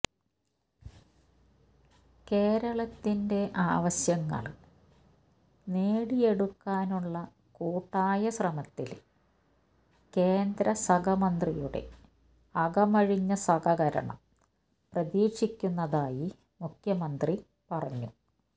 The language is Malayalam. കേരളത്തിന്റെ ആവശ്യങ്ങള് നേടിയെടുക്കാനുള്ള കൂട്ടായ ശ്രമത്തില് കേന്ദ്രസഹമന്ത്രിയുടെ അകമഴിഞ്ഞ സഹകരണം പ്രതീക്ഷിക്കുന്നതായി മുഖ്യമന്ത്രി പറഞ്ഞു